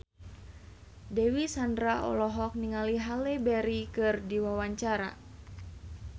Dewi Sandra olohok ningali Halle Berry keur diwawancara